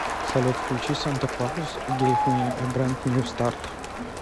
салют включи санта клаус гейв ми э брэнд нью старт